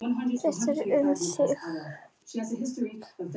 Þeytist um þig allan.